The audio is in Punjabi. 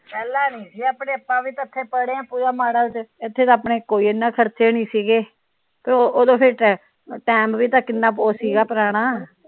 ਪਹਿਲਾ ਨਹੀਂ ਸੀ ਆਪਣੇ ਆਪਾ ਵੀ ਤਾ ਇੱਥੇ ਪੜ੍ਹੇ ਇੱਥੇ ਆਪਣੇ ਕੋਈ ਏਨਾ ਖਰਚੇ ਨਹੀਂ ਸੀ ਗੇ ਤੇ ਓਦੋ ਫਿਰ ਟਾਇਮ ਵੀ ਤਾ ਕਿਨ੍ਹਾਂ ਉਹ ਸੀ ਗਾ ਪੁਰਾਣਾ